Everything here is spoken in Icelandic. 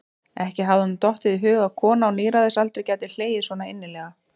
Ekki hafði honum dottið í hug að kona á níræðisaldri gæti hlegið svo innilega.